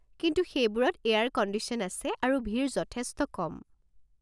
কিন্তু সেইবোৰত air condition আছে আৰু ভিৰ যথেষ্ট কম।